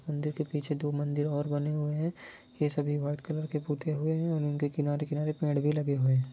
मंदिर के पीछे दो मंदिर और बने हुए है ये सभी वाइट कलर के पुते हुए हैं और उनके किनारे किनारे पेड़ भी लगे हुए हैं।